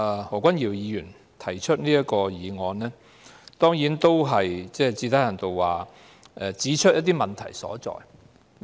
何君堯議員今天提出這項議案，最低限度指出了制度的問題所在。